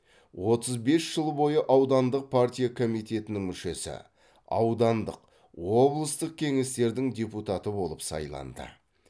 отыз бес жыл бойы аудандық партия комитетінің мүшесі аудандық облыстық кеңестердің депутаты болып сайланды